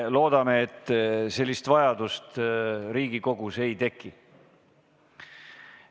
Loodame, et sellist vajadust Riigikogus ei teki.